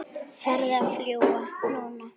Farðu að fljúga, núna